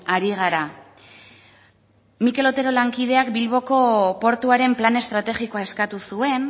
ari gara mikel otero lankideak bilboko portuaren plan estrategikoa eskatu zuen